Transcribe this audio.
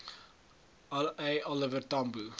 a oliver tambo